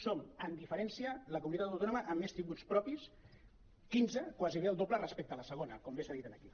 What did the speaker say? som amb diferència la comunitat autònoma amb més tributs propis quinze gairebé el do·ble respecte a la segona com bé s’ha dit aquí